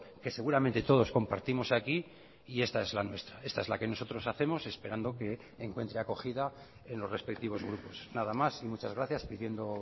que seguramente todos compartimos aquí y esta es la nuestra esta es la que nosotros hacemos esperando que encuentre acogida en los respectivos grupos nada más y muchas gracias pidiendo